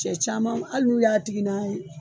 Cɛ camanw ali n'u y'a tigi n'a ye